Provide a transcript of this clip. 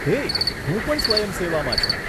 હે, હું પણ સ્વયંસેવામાં છું.